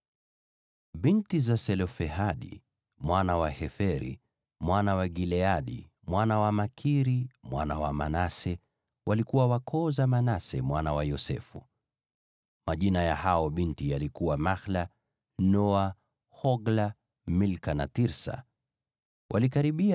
Binti za Selofehadi mwana wa Heferi, mwana wa Gileadi, mwana wa Makiri, mwana wa Manase, walikuwa wa koo za Manase mwana wa Yosefu. Majina ya hao binti yalikuwa Mahla, Noa, Hogla, Milka na Tirsa. Walikaribia